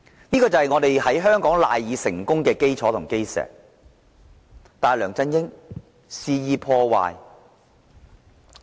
這是香港賴以成功的基石，但梁振英卻肆意破壞。